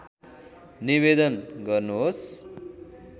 निवेदन गर्नुहोस्